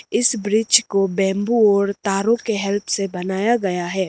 इस ब्रिज को बेम्बू और तारो के हेल्प से बनाया गया है।